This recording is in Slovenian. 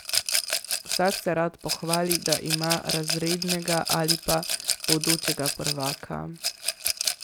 Vsak se rad pohvali, da ima razrednega ali pa bodočega prvaka ...